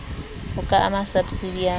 ho ka ama sabsidi ya